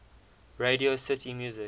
radio city music